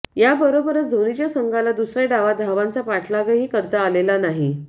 याबरोबरच धोनीच्या संघाला दुसऱ्या डावात धावांचा पाठलागही करता आलेला नाही